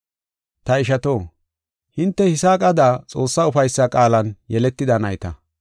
Ta ishato, hinte Yisaaqada Xoossaa ufaysa qaalan yeletida nayta.